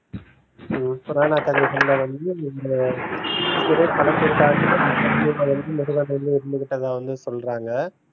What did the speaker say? ஹம் புராண கதைகள்ல வந்து இந்த இருந்து கிட்டதா வந்து சொல்றாங்க